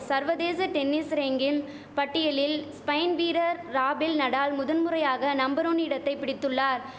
சர்வதேச tennis ranking பட்டியலில் Spain வீரர் ராபெல் நடால் முதன் முறையாக நம்பர் ஒன் இடத்தை பிடித்துள்ளார்